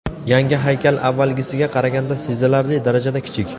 Yangi haykal avvalgisiga qaraganda sezilarli darajada kichik.